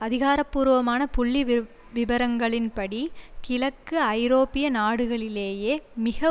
அதிகாரபூர்வமான புள்ளி விப்விபரங்களின்படி கிழக்கு ஐரோப்பிய நாடுகளிலேயே மிக